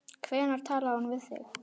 Hvenær talaði hún við þig?